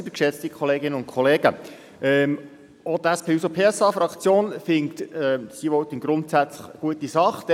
Auch die SP-JUSO-PSA-Fraktion hält das E-Voting grundsätzlich für eine gute Sache.